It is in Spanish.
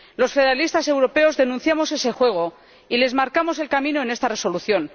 Los federalistas europeos denunciamos ese juego y les marcamos el camino en esta Resolución.